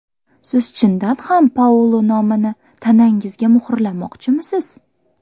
Siz chindan ham Paulo nomini tanangizga muhrlamoqchimisiz?